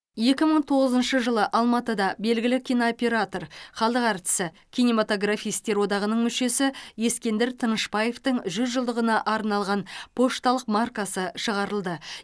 екі мың тоғызыншы жылы алматыда белгілі кинооператор халық әртісі кинематографистер одағының мүшесі ескендір тынышбаевтың жүз жылдығына арналған пошталық маркасы шығарылды